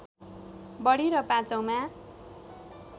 बढी र पाँचौँमा